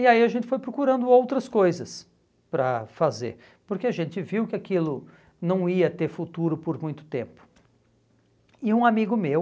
e aí a gente foi procurando outras coisas para fazer porque a gente viu que aquilo não ia ter futuro por muito tempo e um amigo meu